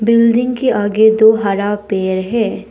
Building के आगे दो हरा पेड़ है।